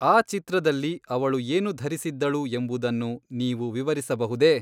ಆ ಚಿತ್ರದಲ್ಲಿ ಅವಳು ಏನು ಧರಿಸಿದ್ದಳು ಎಂಬುದನ್ನು ನೀವು ವಿವರಿಸಬಹುದೇ